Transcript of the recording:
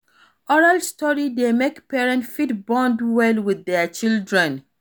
Oral story dey make parents fit bond well with their children